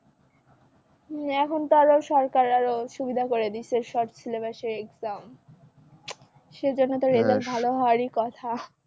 এখন তো আরও সরকার আরো সুবিধা করে দিছে short syllabus এ exam সেজন্য তো result ভালো হওয়ারই কথা।